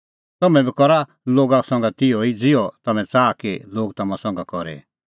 तम्हैं बी करा लोगा संघै तिहअ ई ज़िहअ तम्हैं च़ाहा कि लोग तम्हां संघै करे